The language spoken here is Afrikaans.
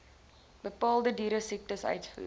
bepaalde dieresiektes uitvoer